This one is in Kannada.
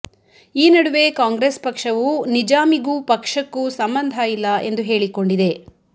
ಈ ನಡುವೆ ಕಾಂಗ್ರೆಸ್ ಪಕ್ಷವು ನಿಜಾಮಿಗೂ ಪಕ್ಷಕ್ಕೂ ಸಂಬಂಧ ಇಲ್ಲ ಎಂದು ಹೇಳಿಕೊಂಡಿದೆ